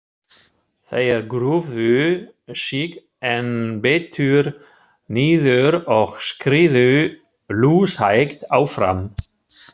Þeir grúfðu sig enn betur niður og skriðu lúshægt áfram.